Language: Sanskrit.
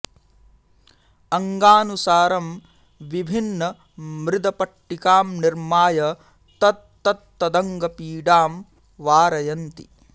अङ्गानुसारं विभिन्न मृद् पट्टिकां निर्माय तत्तत्त अङ्गपीडां वारयन्ति